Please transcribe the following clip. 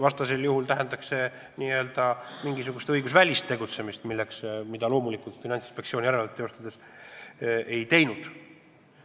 Kui see nii poleks, tähendaks see mingisugust õigusvälist tegutsemist ja seda loomulikult Finantsinspektsioon järelevalvet teostades pole teinud.